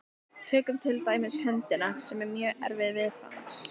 Tökum til dæmis höndina, sem er mjög erfið viðfangs.